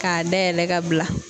K'a dayɛlɛ ka bila